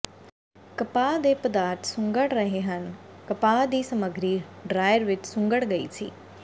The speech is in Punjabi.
ਕਪਾਹ ਦੇ ਪਦਾਰਥ ਸੁੰਗੜ ਰਹੇ ਹਨ ਕਪਾਹ ਦੀ ਸਮੱਗਰੀ ਡ੍ਰਾਇਰ ਵਿਚ ਸੁੰਗੜ ਗਈ ਸੀ